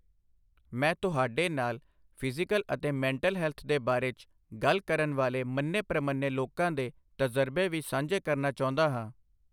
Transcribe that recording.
ਮੈਂ ਤੁਹਾਡੇ ਨਾਲ ਫਿਜ਼ੀਕਲ ਅਤੇ ਮੈਂਟਲ ਹੈਲਥ ਦੇ ਬਾਰੇ 'ਚ ਗੱਲ ਕਰਨ ਵਾਲੇ ਮੰਨੇ ਪ੍ਰਮੰਨੇ ਲੋਕਾਂ ਦੇ ਤਜ਼ਰਬੇ ਵੀ ਸਾਂਝੇ ਕਰਨਾ ਚਾਹੁੰਦਾ ਹਾਂ।